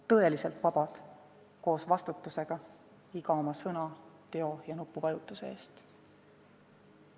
Tõeliselt vabad, koos vastutusega iga oma sõna, teo ja nupuvajutuse eest.